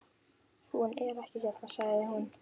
Hún er ekki hérna, sagði hún.